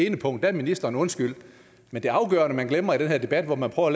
ene punkt er ministeren undskyldt men det afgørende man glemmer i den her debat hvor man prøver